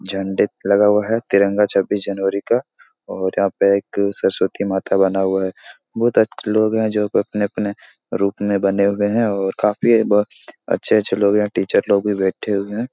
लगा हुआ है तिरंगा छब्बीस जनवरी का और यहां पर एक सरस्वती माता बना हुआ है बहुत लोग हैं जो अपने-अपने रूप में बने हुए हैं और काफी ब अच्छे-अच्छे लोग यह टीचर लोग भी बैठे हुए हैं।